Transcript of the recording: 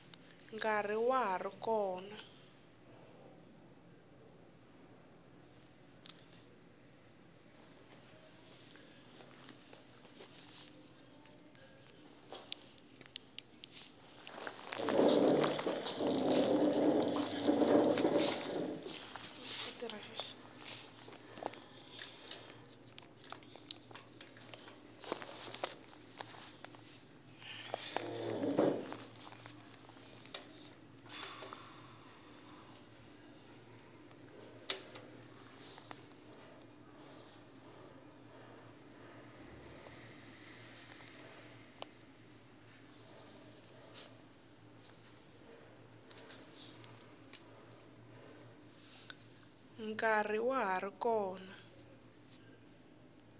nkarhi wa ha ri kona